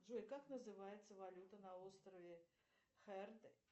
джой как называется валюта на острове херд